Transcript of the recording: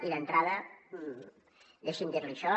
i d’entrada deixi’m dir li això